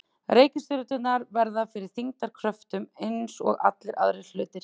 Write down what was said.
Reikistjörnurnar verða fyrir þyngdarkröftum eins og allir aðrir hlutir.